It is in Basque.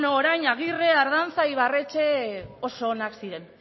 beno orain agirre ardanza ibarretxe oso onak ziren